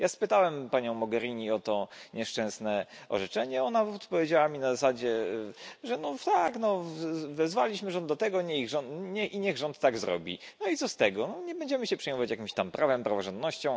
Ja spytałem panią Mogherini o to nieszczęsne orzeczenie, ona odpowiedziała mi na zasadzie, że no tak wezwaliśmy rząd do tego i niech rząd tak zrobi, no i co z tego, nie będziemy się przejmować jakimś tam prawem, praworządnością.